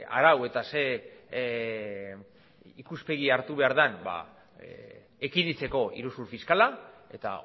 arau eta ze ikuspegi hartu behar dan ekiditeko iruzur fiskala eta